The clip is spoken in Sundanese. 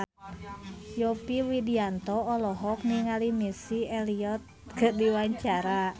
Yovie Widianto olohok ningali Missy Elliott keur diwawancara